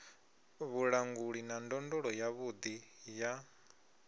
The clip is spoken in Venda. vhulanguli na ndondolo yavhuḓi ya